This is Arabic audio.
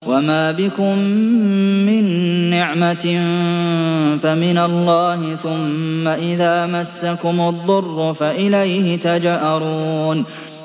وَمَا بِكُم مِّن نِّعْمَةٍ فَمِنَ اللَّهِ ۖ ثُمَّ إِذَا مَسَّكُمُ الضُّرُّ فَإِلَيْهِ تَجْأَرُونَ